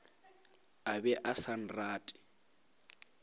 a be a sa rate